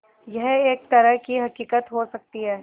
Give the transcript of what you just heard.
यह एक तरह की हक़ीक़त हो सकती है